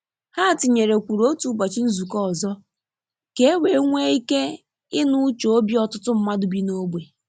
Ha tinyerekwuru otu ụbọchị nzukọ ọzọ ka e wee nwe ike inụ uche obi ọtụtụ mmadụ bi n'ogbe.